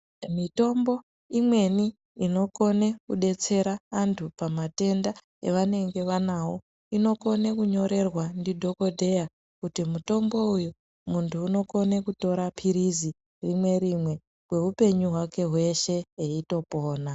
Mitombo imweni inodetsera antu pamatenga avanengene vanawo inokone kunyorerwa ndidhokodheya kuti mutombo uyu muntu unokone kutore pilizi rimwe rimwe kweupenyu hwake hweshe eitopona.